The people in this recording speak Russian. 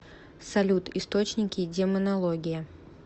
салют источники демонология